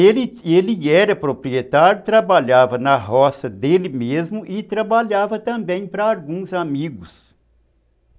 Ele ele era proprietário, trabalhava na roça dele mesmo e trabalhava também para alguns amigos.